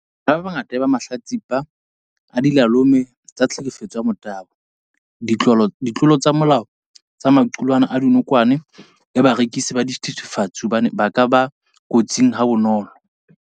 Bana ba bangata e ba mahlatsipa a dilalome tsa tlhekefetso ya motabo, ditlolo tsa molao tsa maqulwana a dinokwane le barekisi ba dithethefatsi hobane ba ka ba kotsing ha bonolo.